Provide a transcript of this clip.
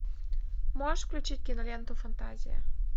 можешь включить киноленту фантазия